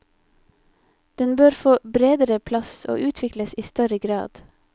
Den bør få bredere plass og utvikles i større grad.